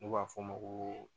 N'u b'a f'o ma ko